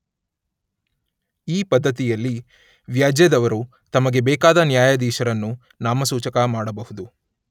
ಈ ಪದ್ದತಿಯಲ್ಲಿ ವ್ಯಾಜ್ಯದವರು ತಮಗೆ ಬೇಕಾದ ನ್ಯಾಯಾಧೀಶರನ್ನು ನಾಮಸೂಚಕ ಮಾಡಬಹುದು.